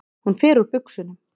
Hún fer úr buxunum.